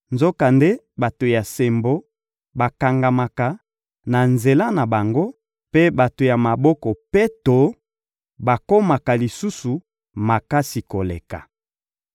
Nzokande, bato ya sembo bakangamaka na nzela na bango, mpe bato ya maboko peto bakomaka lisusu makasi koleka.